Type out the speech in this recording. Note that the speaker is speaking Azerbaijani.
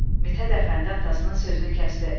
Mithət Əfəndi atasının sözünü kəsdi.